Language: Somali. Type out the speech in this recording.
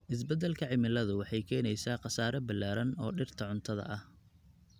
Isbeddelka cimiladu waxay keenaysaa khasaare ballaaran oo dhirta cuntada ah.